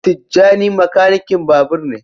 Tijjani makanikin babur ne.